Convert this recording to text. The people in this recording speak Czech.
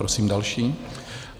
Prosím další.